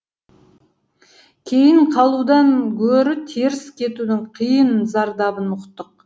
кейін қалудан гөрі теріс кетудің қиын зардабын ұқтық